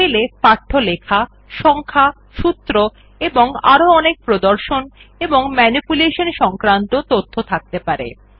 sell এ পাঠ্য লেখা সংখ্যা সূত্র এবং আরো অনেক প্রদর্শন এবং ম্যানিপুলেশন সংক্রান্ত তথ্য থাকতে পারে